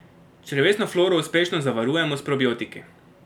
Črevesno floro uspešno zavarujemo s probiotiki.